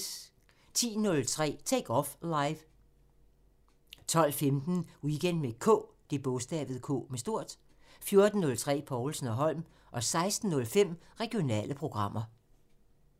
10:03: Take Off Live 12:15: Weekend med K 14:03: Povlsen & Holm 16:05: Regionale programmer